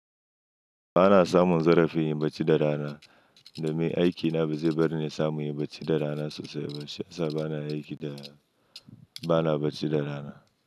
Ba na samun zarafin yin barci da rana. Domin aiki na baze barni in samu in yi barci da rana sosai ba sai azo na aiki da, ba na barci da rana.